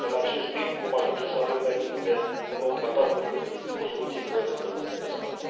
În acest ritm, vom ajunge să avem mai repede un nou tratat decât o soluție coerentă pentru pescari.